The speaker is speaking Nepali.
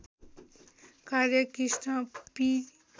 कार्य कृष्ण पी